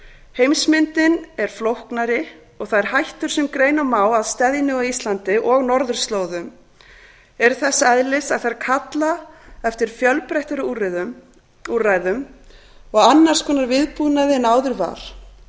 heimsmyndin er flóknari og þær hættur sem greina má að steðji nú að íslandi og norðurslóðum eru þess eðlis að þær kalla eftir fjölbreyttari úrræðum og annars konar viðbúnaði en áður var